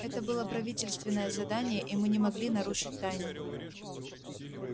это было правительственное задание и мы не могли нарушить тайну